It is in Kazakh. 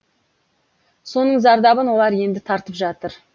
соның зардабын олар енді тартып жатыр